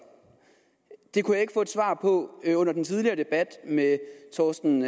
det kunne jeg ikke få et svar på under den tidligere debat med herre torsten